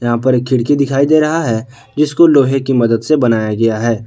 यहां पर एक खिड़की दिखाई दे रहा है जिसको लोहे की मदद से बनाया गया है।